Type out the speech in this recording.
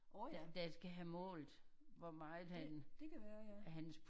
Åh ja det det kan være ja